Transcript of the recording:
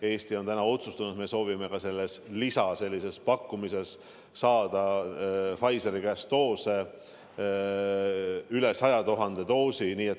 Eesti on otsustanud, et me soovime selle lisapakkumisega saada Pfizeri käest üle 100 000 doosi.